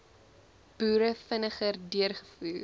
boere vinniger deurgevoer